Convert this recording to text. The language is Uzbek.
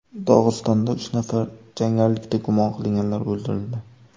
Dog‘istonda uch nafar jangarilikda gumon qilinganlar o‘ldirildi.